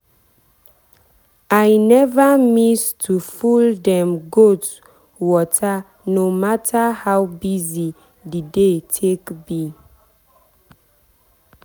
i never miss to full dem goat waterno matter how busy the day take be.